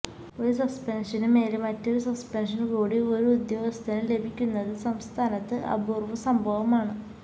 ഒരു സസ്പെന്ഷന് മേല് മറ്റൊരു സസ്പെന്ഷന് കൂടി ഒരു ഉദ്യോഗസ്ഥന് ലഭിക്കുന്നത് സംസ്ഥാനത്ത് അപൂര്വ സംഭവമാണ്